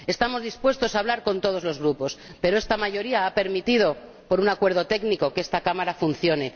Estamos dispuestos a hablar con todos los grupos, pero esta mayoría ha permitido, por un acuerdo técnico, que esta Cámara funcione.